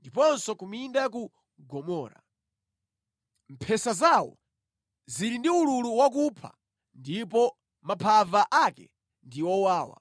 ndiponso ku minda ya ku Gomora. Mphesa zawo zili ndi ululu wakupha ndipo maphava ake ndi owawa.